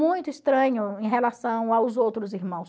Muito estranho em relação aos outros irmãos.